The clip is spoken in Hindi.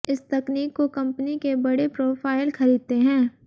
इस तकनीक को कंपनी के बड़े प्रोफ़ाइल खरीदते हैं